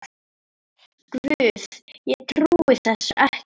Guð, ég trúi þessu ekki